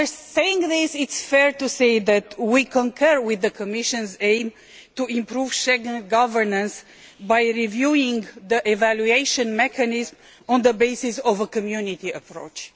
Having said this, it is fair to say that we concur with the Commission's aim of improving Schengen governance by reviewing the evaluation mechanism on the basis of a Community approach.